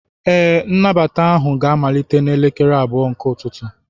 Ee, nnabata ahụ ga-amalite n'elekere abụọ nke ụtụtụ.